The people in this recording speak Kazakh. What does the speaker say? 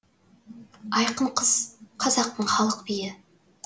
айқын қыз қазақтың халық биі